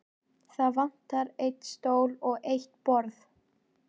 Það vantar einn stól og eitt borð.